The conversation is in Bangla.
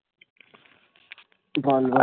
গান গাই